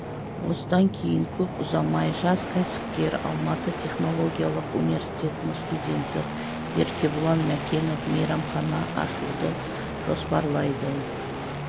осыдан кейін көп ұзамай жас кәсіпкер алматы технологиялық университетінің студенті еркебұлан мәкенов мейрамхана ашуды жоспарлайды